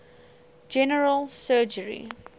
general surgery